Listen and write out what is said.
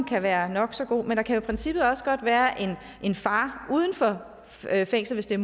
kan være nok så god men der kan i princippet også godt være en far uden for fængslet